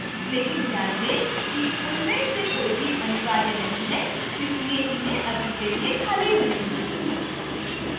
लेकिन ध्यान दें कि उनमें से कोई भी अनिवार्य नहीं है इसलिए मैं इन्हें अभी के लिए खाली रहने दूंगी